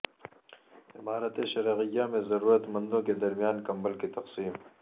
امارت شرعیہ میں ضرورت مندوں کے درمیان کمبل کی تقسیم